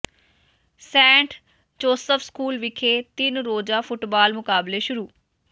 Saint Joseph school ਵਿਖੇ ਤਿੰਨ ਰੋਜ਼ਾ ਫੁੱਟਬਾਲ ਮੁਕਾਬਲੇ ਸ਼ੁਰੂ